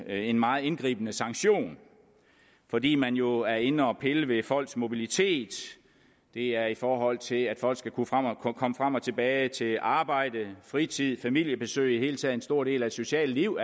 en meget indgribende sanktion fordi man jo er inde og pille ved folks mobilitet det er i forhold til at folk skal kunne komme frem og tilbage til arbejde fritid familiebesøg i det hele taget er en stor del af et socialt liv